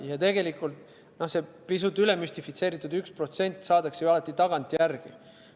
Ja see pisut üle müstifitseeritud 1% saadakse ju alati tagantjärele.